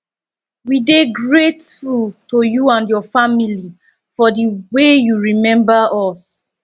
we dey grateful to you and your family for the way you remember us